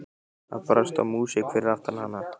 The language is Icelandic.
Það brast á músík fyrir aftan hana.